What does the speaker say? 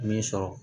Min sɔrɔ